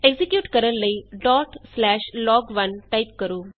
execute ਕਰਨ ਲਈ log1 type ਕਰੋ